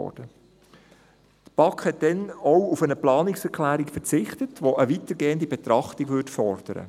Die BaK verzichtete damals auch auf eine Planungserklärung, die eine weitergehende Betrachtung fordern würde.